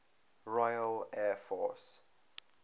royal air force